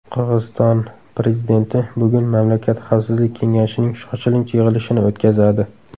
Qirg‘iziston prezidenti bugun mamlakat xavfsizlik kengashining shoshilinch yig‘ilishini o‘tkazadi.